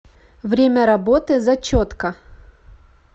время работы зачетка